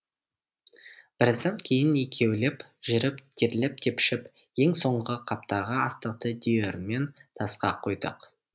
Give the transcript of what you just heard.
біраздан кейін екеулеп жүріп терлеп тепшіп ең соңғы қаптағы астықты диірмен тасқа құйдық